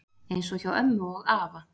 Eins og hjá ömmu og afa